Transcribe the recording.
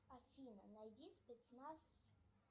афина найди спецназ